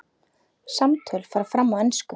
Samtöl fara fram á ensku.